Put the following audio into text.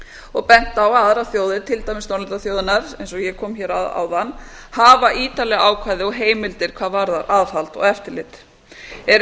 og bent á að aðrar þjóðir til dæmis norðurlandaþjóðirnar eins og ég kom hér að áðan hafa ítarleg ákvæði og heimildir hvað varðar aðhald og eftirlit eru